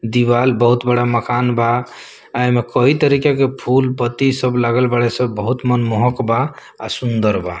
दीवाल बहुत बड़ा मकान बा एमे कए तरीका के फूल-पत्ती सब लागल बाड़े सब बहुत मनमोहक बा आ सुंदर बा।